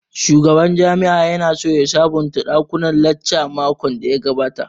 Shugaban jami'an ya na so ya sabonta ɗakunan lacca makon da ya gabata